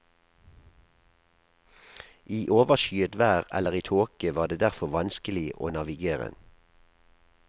I overskyet vær eller i tåke var det derfor vanskelig å navigere.